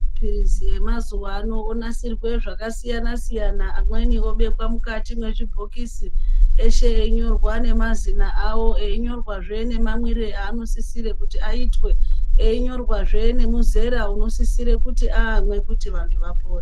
Mapirizi emazuwano onasirwe zvakasiyana siyana, amweni obekwa mukati mwezvibhokisi, eshe einyorwa nemazina awo, einyorwazve nemamwire aanosisire kuti aitwe, einyorwazve nemuzera unosisire kuti amwe kuti vantu vapore.